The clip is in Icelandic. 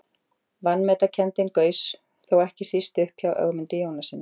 Vanmetakenndin gaus þó ekki síst upp hjá Ögmundi Jónassyni.